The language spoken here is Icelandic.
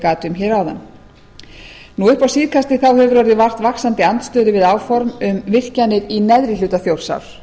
gat um hér áðan upp á síðkastið hefur orðið vart vaxandi andstöðu við áform um virkjanir í neðri hluta þjórsár